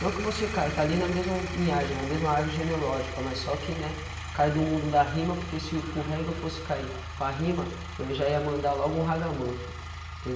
Não que você cai, tá ali na mesma niagem, na mesma árvore geneológica, mas só que, né, cai do mundo da rima, porque se o para o reggae eu fosse cair para a rima, eu já ia mandar logo um raga-muff, entendeu?